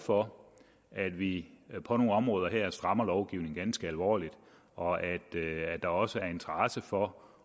for at vi på nogle områder her strammer lovgivningen ganske alvorligt og at der også er interesse for